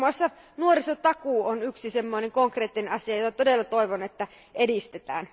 Muun muassa nuorisotakuu on yksi sellainen konkreettinen asia, jota todella toivon, että edistetään.